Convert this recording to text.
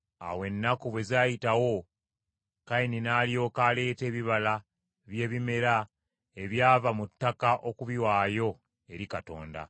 Awo ennaku bwe zaayitawo Kayini n’alyoka aleeta ebibala by’ebimera ebyava mu ttaka okubiwaayo eri Mukama .